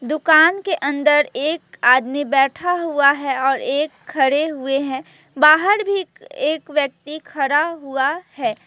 दुकान के अंदर एक आदमी बैठा हुआ है और एक खड़े हुए हैं बाहर भी एक व्यक्ति खड़ा हुआ है।